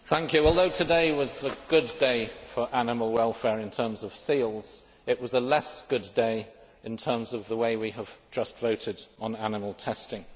Mr President, although today was a good day for animal welfare in terms of seals, it was a less good day in terms of the way we have just voted on animal testing.